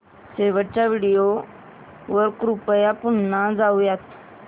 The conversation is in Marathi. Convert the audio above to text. शेवटच्या व्हिडिओ वर कृपया पुन्हा जाऊयात